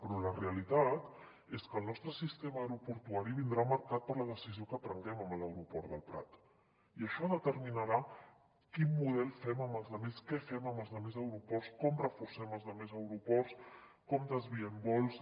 però la realitat és que el nostre sistema aeroportua·ri vindrà marcat per la decisió que prenguem amb l’aeroport del prat i això determi·narà quin model fem amb els altres què fem amb els altres aeroports com reforcem els altres aeroports com desviem vols